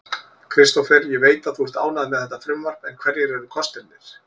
Kristófer, ég veit að þú ert ánægður með þetta frumvarp en hverjir eru kostirnir?